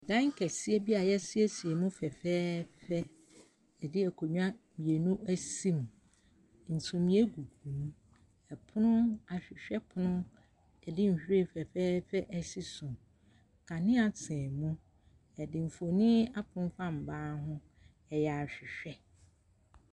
Ɛdan kɛseɛ a yɛasiesie mu fɛfɛɛfɛ. Yɛde akonnwa mmienu asi mu. Sumiiɛ gugu mu. Ɛpono, ahwehwɛ pono. Yɛde nhwiren fɛfɛɛfɛ asi so. Kanea sɛn mu. Yɛde mfoni afemfam ban ho. Ɛyɛ ahwehwɛ.